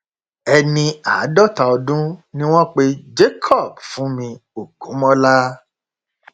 ẹni àádọta ọdún ni wọn pe jacob fúnmi ògúnmọlá